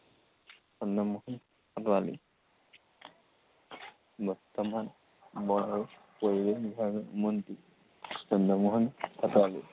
চন্দ্ৰমোহন পাটোৱাৰী। বৰ্তমান বন আৰু পৰিৱেশ বিভাগৰ মন্ত্ৰী চন্দ্ৰমোহন পাটোৱাৰী।